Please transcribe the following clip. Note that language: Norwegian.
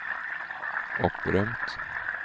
opprømt